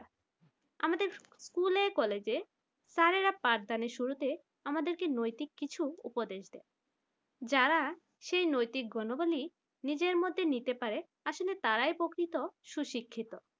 আমাদের school college এ স্যারেরা পাঠদানের শুরুতে আমাদেরকে নৈতিক কিছু উপদেশ দেয়। যারা এই নৈতিক গুণগুলি নিজের মধ্যে নিতে পারে আসলে তারাই প্রকৃত সুশিক্ষিত